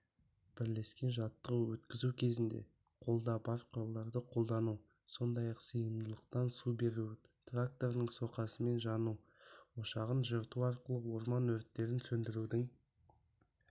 бірлескен жаттығу өткізу кезінде қолда бар құралдарды қолдану сондай-ақ сыйымдылықтан су беру тракторының соқасымен жану ошағын жырту арқылы орман өрттерін сөндірудің